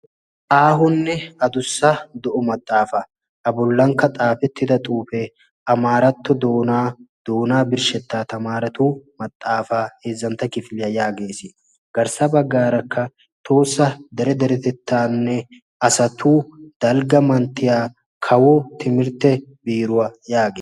aahonne addussa do'o maxaafa. a bollankka xaafetida xuufe amaratto doona doona birshsheta tamarretu maxaafa heezantta kifiliyaa yaages. garssa baggarakka tohossa dere derettetanne asatu dalgga manttiyaane kawo tikirtte biiruwa yaagees.